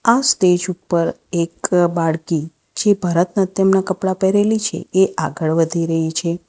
આ સ્ટેજ ઉપર એક બાળકી જે ભરતનાટ્યમના કપડા પહેરેલી છે એ આગળ વધી રહી છે.